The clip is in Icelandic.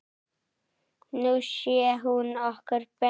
Nú sér hún okkur betur